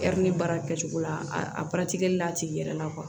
baara kɛcogo la a la a tigi yɛrɛ la